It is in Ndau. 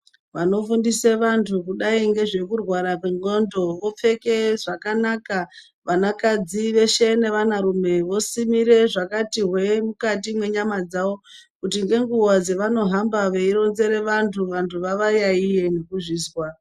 Vanofundise vantu kudai ngezvekurwara kwendxondo vopfeke zvakanaka, vanakadzi veshe nevanarume vosimire zvakati hwee mukati menyama dzavo kuti ngenguva dzevanohamba veironzere vantu, vantu vavayaiye nekuzvizwa.